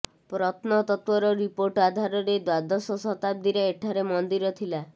ପ୍ରତ୍ନତତ୍ତ୍ୱର report ଆଧାରରେ ଦ୍ୱାଦଶ ଶତାବ୍ଦୀରେ ଏଠାରେ ମନ୍ଦିର ଥିଲା